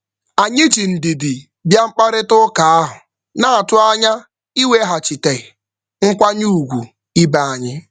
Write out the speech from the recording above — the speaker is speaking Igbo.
Anyị ji ndidi bịa mkparịtaụka ahụ, na-atụ anya iweghachite nkwanye ugwu ibe anyị.